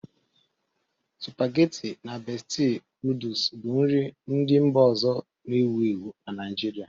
Supageti na Besti nọdụs bụ nri ndị mba ọzọ na-ewu ewu na Naịjirịa.